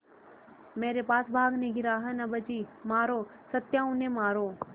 मेरे पास भागने की राह न बची मारो सत्या उन्हें मारो